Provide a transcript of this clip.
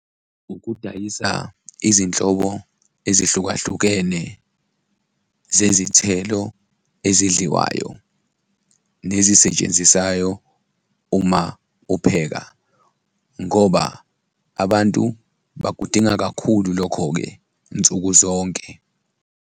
Ukudayisa izinhlobo ezehlukahlukene zezithelo ezidliwayo nezisetshenzisayo uma upheka ngoba abantu bakudinga kakhulu lokho-ke nsuku zonke.